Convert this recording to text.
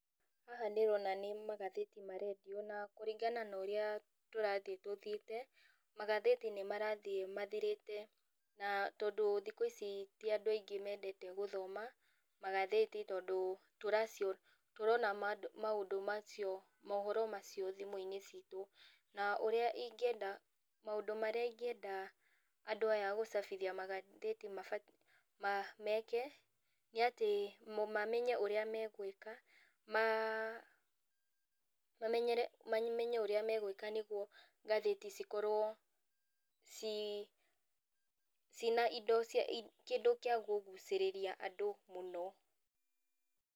Haha ndĩrona nĩ magathĩti marendio, na kũringana na ũrĩa tũrathiĩ tũthiĩte, magathĩti nĩmarathiĩ mathirĩte, na tondũ thikũ ici ti andũ aingĩ mendete gũthoma, magathĩti tondũ tũracio tũrona ma maũndũ macio mohoro macio thimũinĩ citũ, na ũrĩa ingĩenda maũndũ marĩa ingĩenda andũ aya agũcabithia magathĩti mabatiĩ meke, nĩatĩ mũ mamenye ũrĩa megwĩka, ma mamenyere mamenye ũrĩa megwĩka nĩguo ngathĩti cikorwo ci cĩina indo i kĩndũ kĩa kũgucĩrĩria andũ mũno.